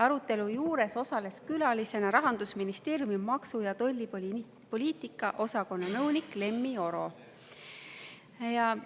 Arutelu juures osales külalisena Rahandusministeeriumi maksu- ja tollipoliitika osakonna nõunik Lemmi Oro.